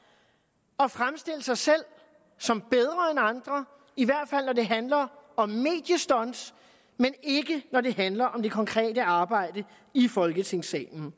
at fremstille sig selv som bedre end andre i hvert fald når det handler om mediestunts men ikke når det handler om det konkrete arbejde i folketingssalen